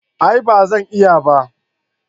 A'a ba Zan iya ba